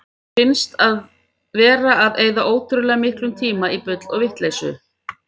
Mér finnst við vera að eyða ótrúlega miklum tíma í bull og vitleysu.